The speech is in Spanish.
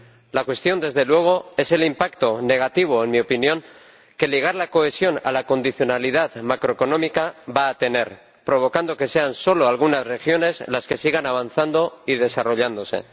La cuestión, desde luego, es el impacto negativo, en mi opinión, que va a tener ligar la cohesión a la condicionalidad macroeconómica, provocando que sean solo algunas regiones las que sigan avanzando y desarrollándose.